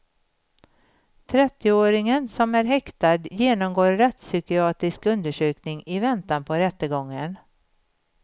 Trettioåringen, som är häktad, genomgår rättspsykiatrisk undersökning i väntan på rättegången.